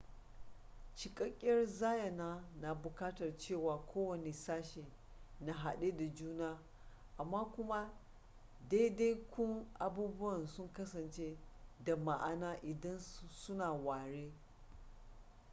cikakkiyar zayyana na buƙatar cewa kowane sashe na hade da juna amma kuma daidaikun abubuwan su kasance da ma'ana idan su na ware